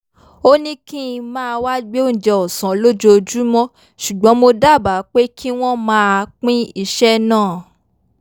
ó ní kí n máa wá gbé oúnjẹ ọ̀sán lójoojúmọ́ ṣùgbọ́n mo dábàá pé kí wọ́n máa pín iṣẹ́ náà